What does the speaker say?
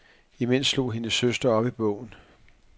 Imens slog hendes søster op i bogen.